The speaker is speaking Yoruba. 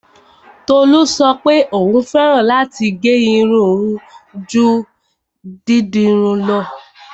Tolú sọ pé òún fẹ́ràn láti gẹ́ irun ju dídirun lọ.